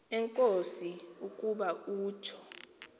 enkosi ukuba utsho